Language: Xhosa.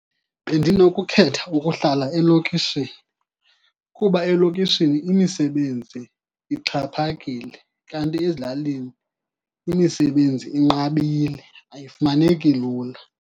Bendinokukhetha ukuhlala elokishini, kuba elokishini imisebenzi ixhaphakile. Kanti ezilalini imisebenzi inqabile, ayifumaneki lula.